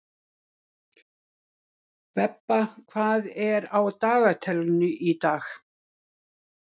Borgar sig ekki að svíkja Loga